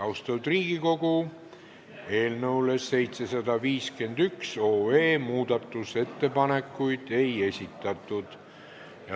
Austatud Riigikogu, eelnõu 751 kohta muudatusettepanekuid ei esitatud.